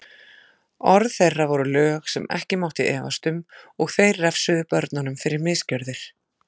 Orð þeirra voru lög sem ekki mátti efast um og þeir refsuðu börnunum fyrir misgjörðir.